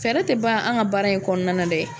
Fɛɛrɛ tɛ ban an ka baara in kɔnɔna dɛ